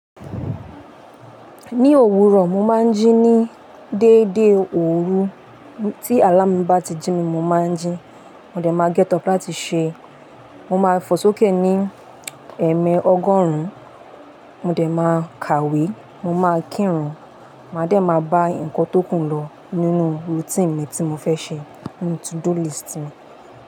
Ní òwúrọ̀, mo máa ń jí ní dédé òru. Tí àláàmú mi bá ti jí mi, mo máa ń jí. Mo dẹ̀ máa dide láti ṣe. Mo máa fò sókè ní ẹ̀ẹ̀mẹ ọgọ́rùn-ún. Mo dẹ̀ máa kàwé. Mo máa kírun. Màá dẹ̀ máa bá nǹkan tó kù lọ nínú routine mi tí mo fẹ́ ṣe nínú to-do list mi.